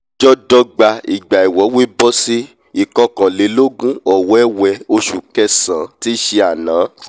ọjọ́dọ́gba ìgbà ìwọ́wé bọ́ sí ìkọkànlélógún ọ̀wẹ́wẹ ọsù kẹsàn-án tíí ṣe àná!